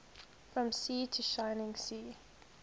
from sea to shining sea